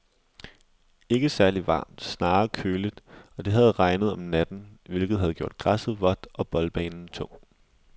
Ikke særligt varmt, snarere lidt køligt, og det havde regnet om natten, hvilket havde gjort græsset vådt og boldbanen tung.